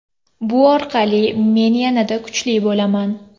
Bu orqali men yanada kuchli bo‘laman.